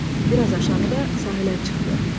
Bir az aşağıda sahilə çıxdı.